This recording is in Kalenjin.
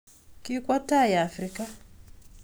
Kikokwa tai Africa Pleng